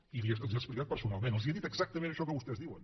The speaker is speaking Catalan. i els ho he explicat personalment els he dit exactament això que vostès diuen